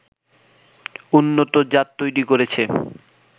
উন্নত জাত তৈরি করেছে